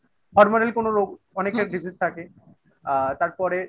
hormonal কোনো রোগ অনেকের diseases থাকে আ তারপরে